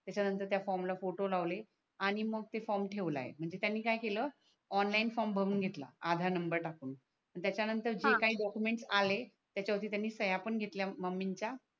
त्याचा नंतर त्या फॉर्मला फोटो लावले आणि मग ते फॉर्म ठेवला आहे म्हणजे त्यांनी काय केल ऑनलाइन फॉर्म भरून घेतला आधार नंबर टाकून त्याच्या नंतर हा जे काही डॉकूमेंट आले त्याच्या वरती त्यांनी शया पण घेतल्या मम्मीच्या